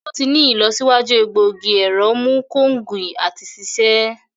To ti ni ilọsiwaju egbogi ẹrọ mu konge ati ṣiṣe.